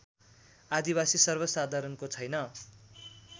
आदिवासी सर्वसाधारणको छैन